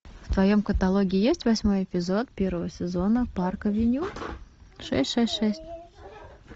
в твоем каталоге есть восьмой эпизод первого сезона парк авеню шесть шесть шесть